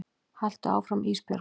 Haltu áfram Ísbjörg.